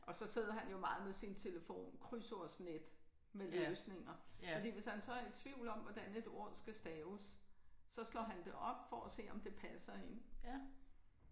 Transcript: Og så sidder han jo meget med sin telefon. Krydsordsnet med løsninger. Fordi hvis han så er i tvivl om hvordan et ord skal staves så slår han det op for at se om det passer ind